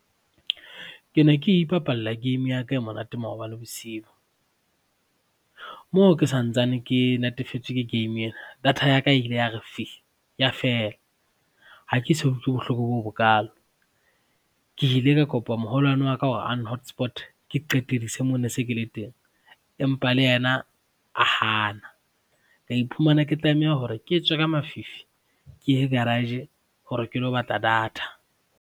Ke ne ke ipapalla game ya ka e monate maobane bosiu moo ke santsane ke natefetswe ke game ena data ya ka ile ya re fi! Ya fela. Ha ke so utlwe bohloko bo bokalo. Ke ile ka kopa moholwane wa ka hore a n-hotspot-e ke qetedise moo ne se ke le teng, empa le yena a hana, ka iphumana ke tlameha hore ke tswe ka mafifi ke ye garage hore ke lo batla data.